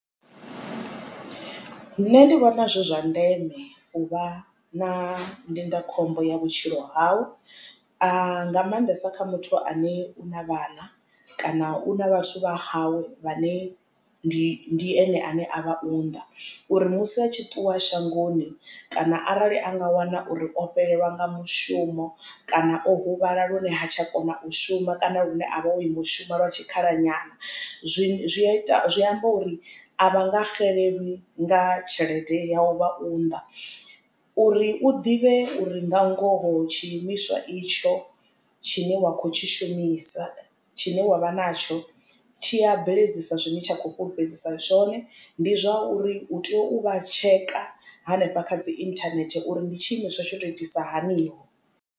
Nṋe ndi vhona zwi zwa ndeme u vha na ndindakhombo ya vhutshilo hau nga maanḓesa kha muthu ane u na vhana kana u na vhathu vha hawe vhane ndi ene ane avha unḓa. Uri musi a tshi ṱuwa shangoni kana arali anga wana uri o fhelelwa nga mushumo kana o huvhala lune ha tsha kona u shuma kana lune a vha o ima ushuma lwa tshikhala nyana zwi ita zwi amba uri a vha nga xelelwi nga tshelede ya u vha unḓa. Uri u ḓivhe uri nga ngoho tshiimiswa itsho tshine wa khou tshi shumisa tshine wavha natsho tshi a bveledzisa tshine tsha khou fhulufhedzisa zwone ndi zwauri hu tea u vha tsheka hanefha kha dzi internet uri ndi tshi imiswa tsho to itisa haniho.